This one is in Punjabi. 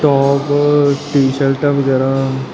ਟੋਪ ਟੀ ਸ਼ਰਟਾਂ ਵਗੈਰਾ।